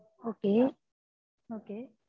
okay